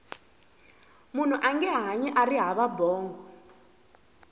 munhu ange hanyi ari hava bongo